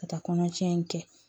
Ka taa kɔnɔtiɲɛ in kɛ